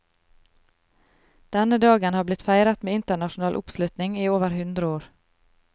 Denne dagen har blitt feiret med internasjonal oppslutning i over hundre år.